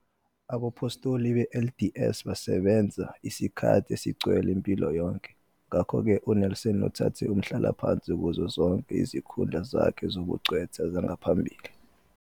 Abaphostoli be- LDS basebenza isikhathi esigcwele impilo yonke, ngakho-ke uNelson uthathe umhlalaphansi kuzo zonke izikhundla zakhe zobungcweti zangaphambili.